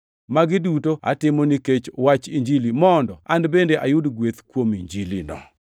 Magi duto atimo nikech wach Injili, mondo an bende ayud gweth kuom Injilino.